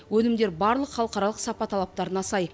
өнімдер барлық халықаралық сапа талаптарына сай